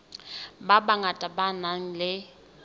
ba bangata ba nang le